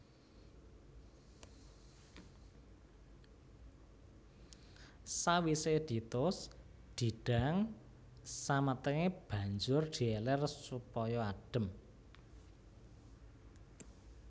Sawisé ditus didang samatengé banjur di elèr supaya adhem